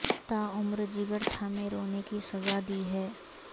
تا عمر جگر تھامے رونے کی سزا دی ہے